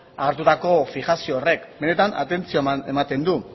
agertutako fijazio horrek benetan atentzioa ematen du